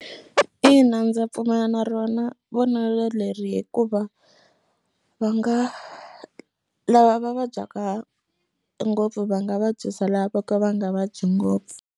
Ina ndza pfumela na rona vonelo leri hikuva va nga lava va vabyaka ngopfu va nga vabyisa lava vo ka va nga vabyi ngopfu.